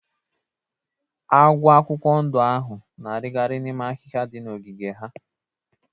Agwọ akwụkwọ ndụ ahụ na-arigari n'ime ahiha dị na ogiige ha.